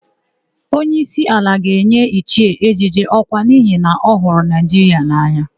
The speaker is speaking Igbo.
Onyeísí ala ga-enye Ichie Ejeje ọkwa n'ihi na ọ hụrụ Naịjiria n'anya.